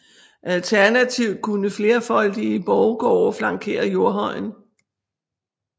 Alternativt kunne flerfoldige borggårde flankere jordhøjen